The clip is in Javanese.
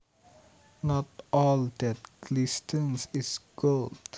Not all that glistens is gold